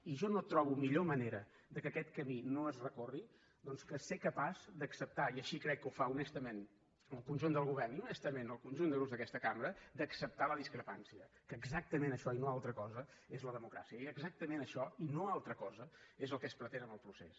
i jo no trobo millor manera que aquest camí no es recorri doncs que ser capaç d’acceptar i així crec que ho fa honestament el conjunt del govern i honestament el conjunt de grups d’aquesta cambra la discrepància que exactament això i no altra cosa és la democràcia i exactament això i no altra cosa és el que es pretén amb el procés